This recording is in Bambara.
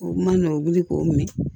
O ma nɔgɔn k'o mɛn